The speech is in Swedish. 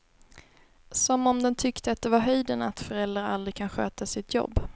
Som om den tyckte att det var höjden att föräldrar aldrig kan sköta sitt jobb.